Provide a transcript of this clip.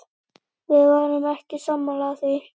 Við vorum ekki sammála því.